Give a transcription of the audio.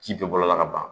Ji bɛ bɔ a la ka ban